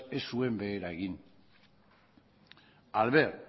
ez zuen behera egin al ver